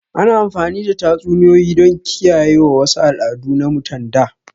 Ana amfani da tatsuniyoyi don kiyaye wasu al'adu na mutan da